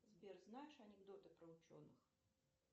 сбер знаешь анекдоты про ученых